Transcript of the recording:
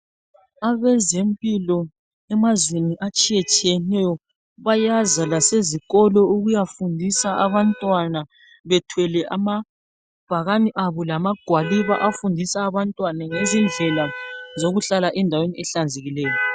Abezempilo emazweni atshiye tshiyeneyo bayaza lasezikolo ukuyafundisa abantwana bethwele amabhakani abo lamagwaliba afundisa abantwana ngezindlela zokuhlala endaweni ehlanzekileyo.